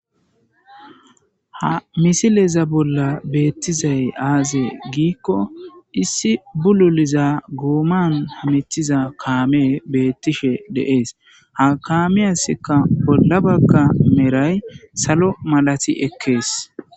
Ha missileza bolla betizay aze gikko issi bululiza goman hametiza kame betishe des ha kameiasika bola bagara meray salo malati ekes.